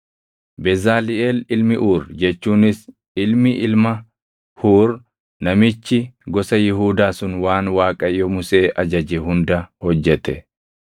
Bezaliʼeel ilmi Uuri jechuunis ilmi ilma Huur namichi gosa Yihuudaa sun waan Waaqayyo Musee ajaje hunda hojjete.